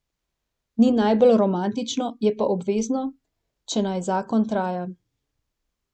Ni najbolj romantično, je pa obvezno, če naj zakon traja.